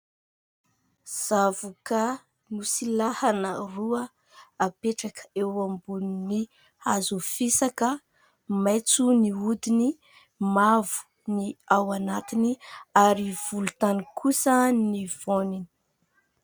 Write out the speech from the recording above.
Zavokà nosilahana roa apetraka eo ambonin'ny hazo fisaka, maitso ny hodiny, mavo ny ao anatiny ary volontany kosa ny voaniny.